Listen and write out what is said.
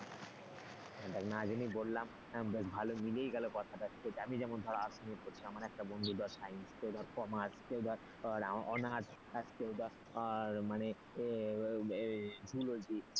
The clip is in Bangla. দেখ না জেনেই বললাম বেশ ভালো মিলেই গেল কথাটা আমি যেন ধরার arts নিয়ে পড়ছি একটা বন্ধু তার science কেউ commerce কেউ ধর honours মানে এর zoology